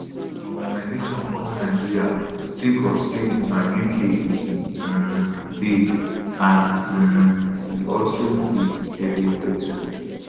im organisation come nigeria sake of say na uk e um dey and um e also dey evriwia too